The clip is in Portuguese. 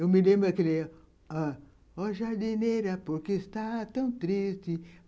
Eu me lembro aquele... O Jardineira, por que está tão triste?